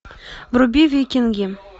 вруби викинги